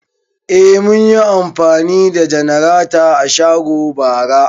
Eh, mun yi amfani da janarata a shago bara